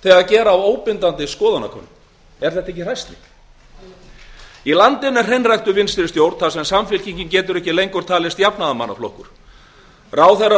sér réttlætingu fyrir áframsetu á valdastóli þrátt fyrir að þjóðin hafi talað í landinu er hreinræktuð vinstri stjórn þar sem samfylkingin getur ekki lengur talist jafnaðarmannaflokkur samfylkingin verður ekki miðjujafnaðarmannaflokkur nema